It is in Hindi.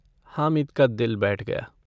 हामिद का दिल बैठ गया।